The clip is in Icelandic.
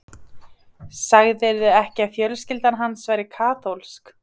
Sagðirðu ekki að fjölskyldan hans væri kaþólsk?